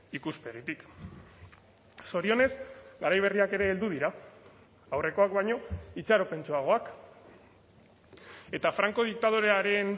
ikuspegitik zorionez garai berriak ere heldu dira aurrekoak baino itxaropentsuagoak eta franco diktadorearen